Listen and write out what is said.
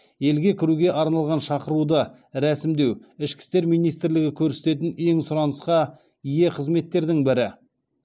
елге кіруге арналған шақыруды рәсімдеу ішкі істер минитрлігі көрсететін ең сұранысқа ие қызметтердің бірі